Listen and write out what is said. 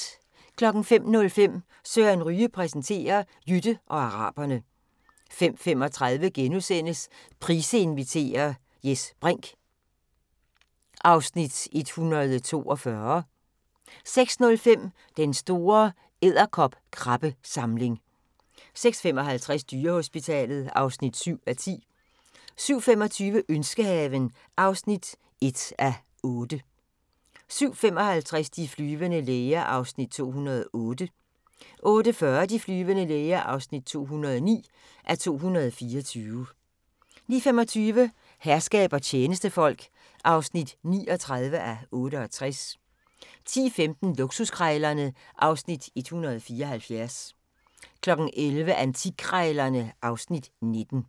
05:05: Søren Ryge præsenterer: Jytte og araberne 05:35: Price inviterer – Jes Brinch (Afs. 142)* 06:05: Den store edderkopkrabbesamling 06:55: Dyrehospitalet (7:10) 07:25: Ønskehaven (1:8) 07:55: De flyvende læger (208:224) 08:40: De flyvende læger (209:224) 09:25: Herskab og tjenestefolk (39:68) 10:15: Luksuskrejlerne (Afs. 174) 11:00: Antikkrejlerne (Afs. 19)